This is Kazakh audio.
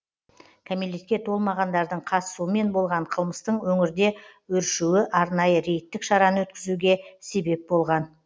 кәмелетке толмағандардың қатысуымен болған қылмыстың өңірде өршуі арнайы рейдтік шараны өткізуге себеп болған